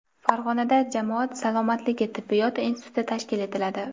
Farg‘onada jamoat salomatligi tibbiyot instituti tashkil etiladi.